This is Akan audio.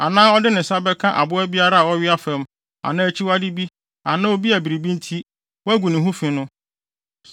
anaa ɔde ne nsa bɛka aboa biara a ɔwea fam anaa akyiwade bi anaa obi a biribi nti, wɔagu ne ho fi no,